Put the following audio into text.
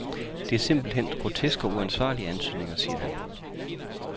Det er simpelt hen groteske og uansvarlige antydninger, siger han.